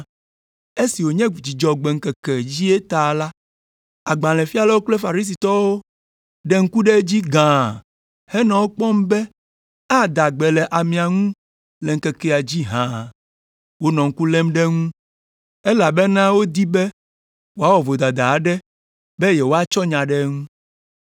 Esi wònye Dzudzɔgbe ŋkeke dzie ta la, agbalẽfialawo kple Farisitɔwo ɖe ŋku ɖe edzi gãa henɔ ekpɔm be ada gbe le amea ŋu le ŋkekea dzi hã. Wonɔ ŋku lém ɖe eŋu elabena wodi be wòawɔ vodada aɖe be yewoatsɔ nya ɖe eŋu.